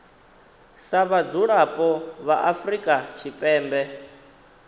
sa vhadzulapo vha afrika tshipembe